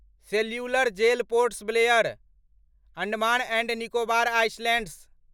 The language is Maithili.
cellular Jail Port Blair, Andaman and Nicobar islands